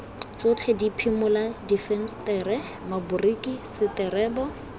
tsotlhe diphimola difensetere maboriki seterebo